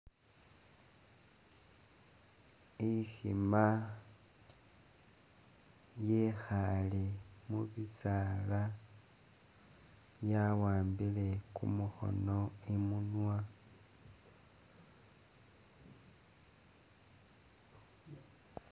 Ikhima yekhale mu bisaala yawambile kumukhono imunwa